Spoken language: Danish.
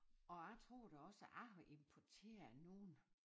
Og jeg tror da også jeg har importeret nogen